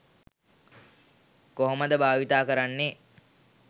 කොහොමද භාවිතා කරන්නේ.